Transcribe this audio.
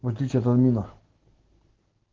в отличии от админа